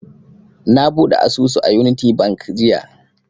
Na buɗe asusu a unity bank jiya